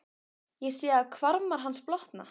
Ég sé að hvarmar hans blotna.